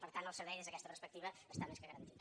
per tant el servei des d’aquesta perspectiva està més que garantit